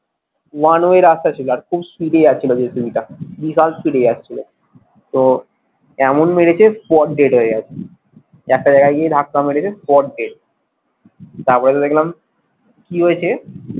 one way রাস্তা ছিল আর খুব speed এ যাচ্ছিলো জেসিবিটা বিশাল speed এ যাচ্ছিলো তো এমন মেরেছে spot dead হয়ে গেছে একটা জায়গায় গিয়ে ধাক্কা মেরেছে spot dead তারপরে দেখলাম কি হয়েছে,